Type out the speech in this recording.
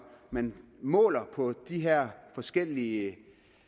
man måler på de her forskellige